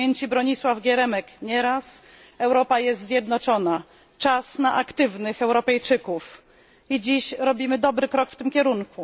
Bronisław Geremek Europa jest zjednoczona, czas na aktywnych Europejczyków. I dziś robimy dobry krok w tym kierunku.